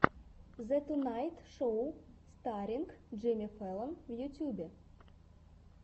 зе тунайт шоу старринг джимми фэллон в ютубе